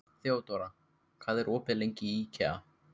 Þeódóra, hvað er opið lengi í IKEA?